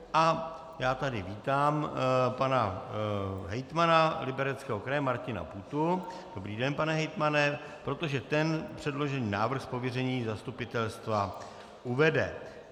A já tady vítám pana hejtmana Libereckého kraje Martina Půtu - dobrý den, pane hejtmane -, protože ten předložený návrh z pověření zastupitelstva uvede.